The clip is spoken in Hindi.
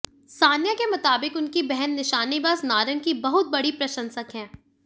सानिया के मुताबिक उनकी बहन निशानेबाज नारंग की बहुत बड़ी प्रशंसक है